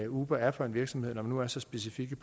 uber er for en virksomhed når de nu er så specifikke